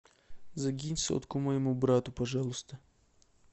закинь сотку моему брату пожалуйста